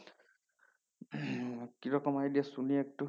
কি রকম idea শুনি একটু